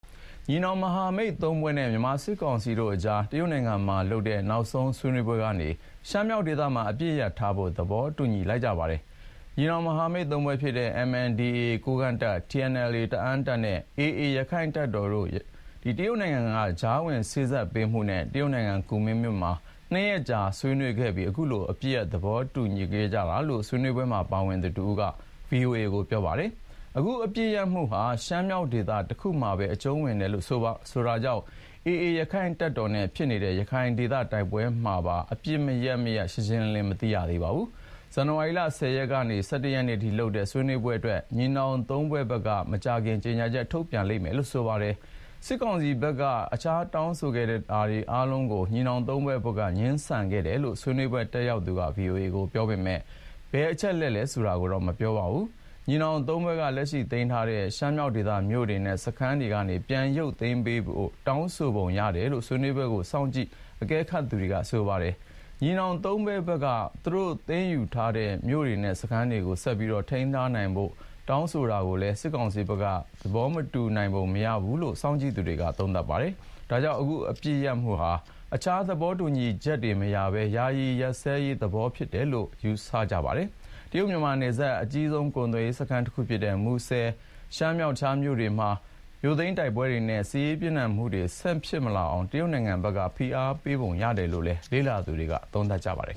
ညီနောင် မဟာမိတ်သုံးဖွဲ့နဲ့ မြန်မာစစ်ကောင်စီတို့အကြား တရုတ်နိုင်ငံမှာလုပ်တဲ့ နောက်ဆုံး ဆွေးနွေးပွဲကနေ ရှမ်းမြောက်ဒေသမှာ အပစ်ရပ်ထားဖို့ သဘောတူလိုက်ကြပါတယ်။ တရုတ်နိုင်ငံက ကြားဝင်စေ့စပ်မှုနဲ့ ညီနောင်မဟာမိတ်သုံးဖွဲ့ဖြစ်တဲ့ MNDAA ကိုးကန့်တပ်၊ TNLA တအာင်းတပ်နဲ့ AA ရခိုင့်တပ်တော်တို့ တရုတ်နိုင်ငံ ကူမင်းမြို့မှာ နှစ်ရက်ကြာ ဆွေးနွေးခဲ့အပြီး အခုလို အပစ်ရပ် သဘောတူခဲ့ကြတာလို့ ဆွေးနွေးပွဲမှာ ပါဝင်သူတဦးက VOA ကို ပြောပါတယ်။ အခု အပစ်ရပ်မှုဟာ ရှမ်းမြောက်ဒေသ တခုမှာပဲ အကျုံးဝင်တယ်လို့ ဆိုတာကြောင့်၊ AA ရခိုင့်တပ်တော်နဲ့ စစ်ကောင်စီတပ်တို့ ဖြစ်နေတဲ့ ရခိုင်ဒေသ တိုက်ပွဲတွေမှာပါ အပစ်ရပ်မရပ် ရှင်းရှင်းလင်းလင်း မသိရပါဘူး။ ဇန်နဝါရီလ ၁၀ ရက်နေ့ကနေ ၁၁ ရက်နေ့အထိလုပ်တဲ့ ဆွေးနွေးပွဲအတွက် ညီနောင်သုံးဖွဲ့ဘက်က မကြာခင် ကြေညာချက်ထုတ်မယ်လို့တော့ ပြောပါတယ်။ စစ်ကောင်စီဖက်က တခြား တောင်းဆိုခဲ့တာတွေ အားလုံးကို ညီနောင်သုံးဖွဲ့ဘက်က ငြင်းဆန်ခဲ့တယ်လို့ ဆွေးနွေးပွဲတတ်ရောက်သူက ဗွီအိုအေကို ပြောပေမယ့်၊ ဘယ်အချက်တွေလဲ ဆိုတာကိုတော့ မပြောပါဘူး။ ညီနောင်သုံးဖွဲ့က လက်ရှိ သိမ်းပိုက်ထားတဲ့ ရှမ်းမြောက်ဒေသ မြို့တွေနဲ့ စခန်းတွေကနေ ပြန်ရုပ်သိမ်းဖို့ တောင်းဆိုပုံ ရတယ်လို့ ဆွေးနွေးပွဲကို စောင့်ကြည့်အကဲခတ် နေသူတွေက ပြောပါတယ်။ ညီနောင်သုံးဖွဲ့ဘက်က သူတို့ သိမ်းယူထားတဲ့ မြို့တွေနဲ့စခန်းတွေကို ဆက်ပြီး ထိန်းချုပ်ထားဖို့ တောင်းဆိုတာကိုလည်း စစ်ကောင်စီဖက်က သဘောမတူနိုင်ပုံ ရတယ်လို့ စောင့်ကြည့်သူတွေက သုံးသပ်ပါတယ်။ ဒါကြောင့် အခု အပစ်ရပ်မှုဟာ တခြား သဘောတူညီချက်တွေ မရပဲ ယာယီ စစ်ရပ်စဲရေးသဘော ဖြစ်တယ်လို့လည်း ယူဆကြပါတယ်။ တရုတ်-မြန်မာနယ်စပ် အကြီးဆုံး ကုန်သွယ်ရေးစခန်း တခုဖြစ်တဲ့ မူဆယ်နဲ့ ရှမ်းမြောက် တခြားမြို့ကြီးတွေမှာ မြို့သိမ်းတိုက်ပွဲတွေနဲ့ စစ်ရေးပြင်းထန်မှုတွေ ဆက်မဖြစ်လာအောင် တရုတ်နိုင်ငံဘက်က ဖိအားပေးပုံ ရတယ်လို့လည်း လေ့လာသူတွေက သုံးသပ်ပါတယ်